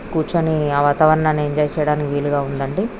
కూర్చొని ఆహ్ వాతావరణాన్ని ఎంజాయ్ చెయ్యడానికి వీలుగా ఉందండి.